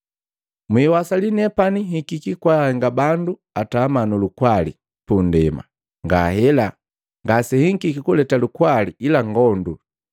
“Mwiwasali nepani nhikiki kwahenga bandu atama nulukwali pundema. Ngahela, ngasenhikiki kuleta lukwali ila ngondu.